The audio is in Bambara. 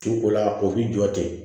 Tin ko la o b'i jɔ ten